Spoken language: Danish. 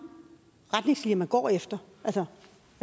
retningslinjer man går efter altså